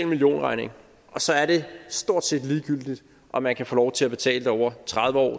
millionregning og så er det stort set ligegyldigt om man kan få lov til at betale det over tredive år